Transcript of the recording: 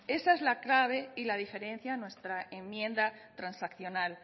esa es la clave y la diferencia en nuestra enmienda transaccional